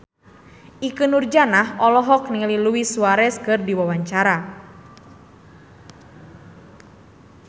Ikke Nurjanah olohok ningali Luis Suarez keur diwawancara